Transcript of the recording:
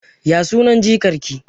Ya sunan jikar ki?